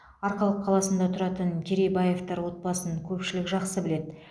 арқалық қаласында тұратын керейбаевтар отбасын көпшілік жақсы біледі